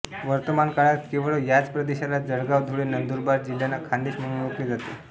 वर्तमान काळात केवळ याच प्रदेशाला जळगाव धुळे नंदुरबार जिल्ह्यांना खान्देश म्हणून ओळखले जाते